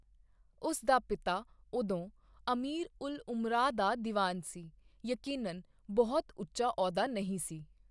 ਉਸ ਦਾ ਪਿਤਾ ਉਦੋਂ ਅਮੀਰ ਉਲ ਉਮਰਾ ਦਾ ਦੀਵਾਨ ਸੀ, ਯਕੀਨਨ ਬਹੁਤਾ ਉੱਚਾ ਅਹੁਦਾ ਨਹੀਂ ਸੀ।